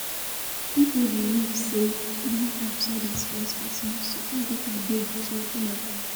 Pipo believe sey bank apps no dey stress person so far data dey to open am